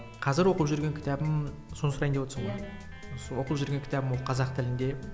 қазір оқып жүрген кітабым соны сұрайын деп отырсың ба иә оқып жүрген кітабым ол қазақ тілінде